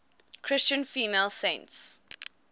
christian female saints